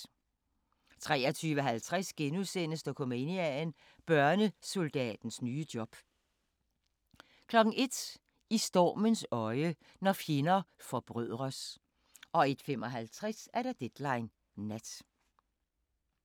23:50: Dokumania: Børnesoldatens nye job * 01:00: I stormens øje – når fjender forbrødres 01:55: Deadline Nat